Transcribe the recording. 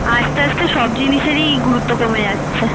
আস্তে আস্তে সব জিনিসরই গুরুত্ব কমে যাচ্ছে।